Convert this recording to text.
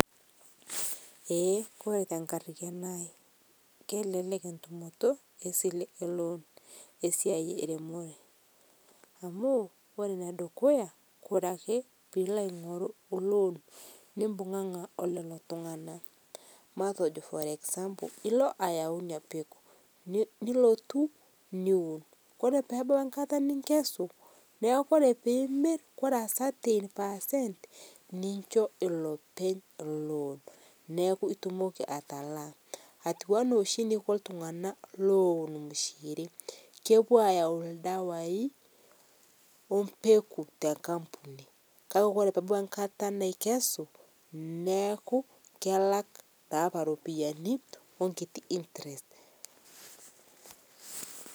Ee Kore te enkarriyiano aai kelelek entumoto esilee e loan esiai eremoree, amu ore nedukuya kore ake piilo aing'oruu piilo nimbung'ang'a oleloo tung'ana matejo for example, ilo ayau inia pekuu nilotuu niwun koree peebau enkata ninkesuu, naaku kore piimir kore a certain percent ninshoo elopeny loan naaku itumokii atalaa atuwanaa shi neiko ltunganaa lowun imishirii, kopuo ayau ldawai ompeku te nkampunii kakee kore peebau nkataa naikesuu neaku kelak naapa ropiyanii onkitii interest.